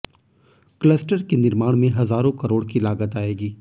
cluster के निर्माण में हजारों करोड़ की लागत आएगी